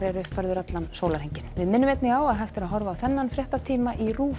er uppfærður allan sólarhringinn við minnum einnig á að hægt að horfa á þennan fréttatíma í RÚV